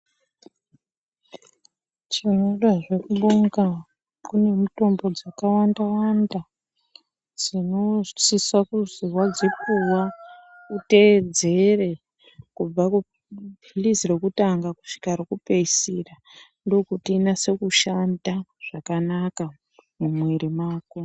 Tinodazve kubonga kune mutombo dzakawanda wanda dzinosise kuzi wadzipuwa uteedzere kubva kupilizi rekutanga kusvika rekupeisira ndokuti riNase kushanda zvakanaka mumwiri mako.